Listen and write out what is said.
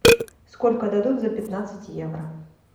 сколько дадут за пятнадцать евро